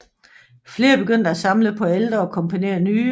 Flere begyndte at samle på ældre og komponere nye